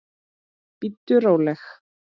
Bíddu róleg!